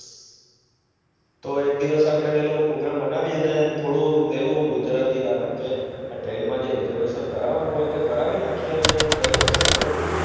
તો એક દિવસ આપડે વેલો prograam બનાવીએ અને થોડો વેલુ આ train માં જે recervation કરાવાનું હોય છે તે કરાવી નાખીએ અને જઈએ શું કેવું તમારું